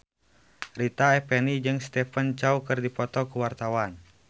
Rita Effendy jeung Stephen Chow keur dipoto ku wartawan